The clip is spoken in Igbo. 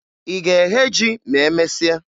Ị ga-eghe ji ma emesịa?